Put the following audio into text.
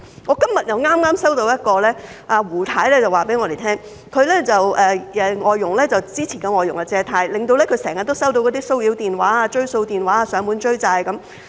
我剛在今天收到一位胡太的投訴，她告訴我們，她之前的外傭借貸，令她經常收到騷擾電話、追債電話，被人上門追債。